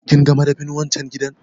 Kinga madafin wan can gidan?